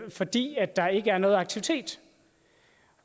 fordi der ikke er noget aktivitet